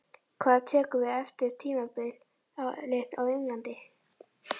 Hvað tekur við eftir tímabilið á Englandi?